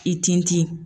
I tin ti